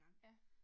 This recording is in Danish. Ja